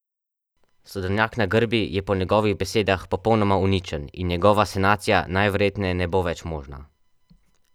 Sadovnjak na Grbi je po njegovih besedah popolnoma uničen in njegova sanacija najverjetneje ne bo več možna.